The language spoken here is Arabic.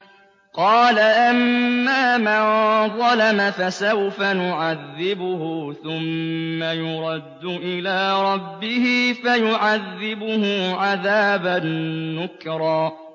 قَالَ أَمَّا مَن ظَلَمَ فَسَوْفَ نُعَذِّبُهُ ثُمَّ يُرَدُّ إِلَىٰ رَبِّهِ فَيُعَذِّبُهُ عَذَابًا نُّكْرًا